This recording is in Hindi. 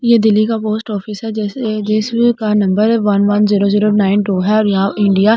ये दिल्ली का पोस्ट ऑफिस है जैसे जिसका number one one zero zero nine two है और यहां इंडिया --